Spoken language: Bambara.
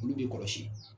Olu bɛ kɔlɔsi